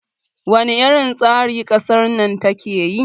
wane irin tsari kasar na take yi?